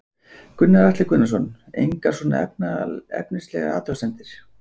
Gunnar Atli Gunnarsson: Engar svona efnislegar athugasemdir?